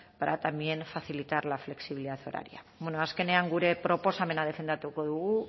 para también facilitar la flexibilidad horaria bueno azkenean gure proposamena defendatuko dugu